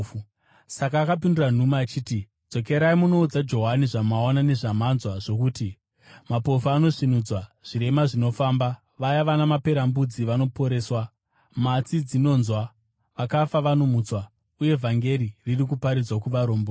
Saka akapindura nhume achiti, “Dzokerai munoudza Johani zvamaona nezvamanzwa zvokuti: Mapofu anosvinudzwa, zvirema zvinofamba, vaya vana maperembudzi vanoporeswa, matsi dzinonzwa, vakafa vanomutswa uye vhangeri riri kuparidzwa kuvarombo.